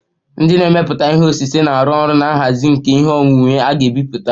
Ndị na-emepụta ihe osise na-arụ ọrụ na nhazi nke ihe onwunwe a ga-ebipụta